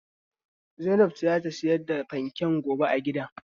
Zainab ce za ta sayar da fanken gobe a gidan.